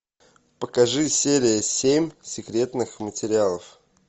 покажи серия семь секретных материалов